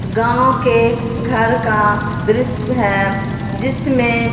गांव के घर का दृश्य हैं जिसमें--